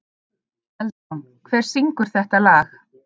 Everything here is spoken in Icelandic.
Eldrún, hver syngur þetta lag?